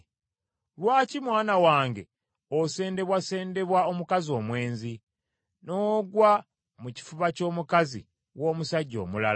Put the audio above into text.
Lwaki mwana wange osendebwasendebwa omukazi omwenzi, n’ogwa mu kifuba ky’omukazi w’omusajja omulala?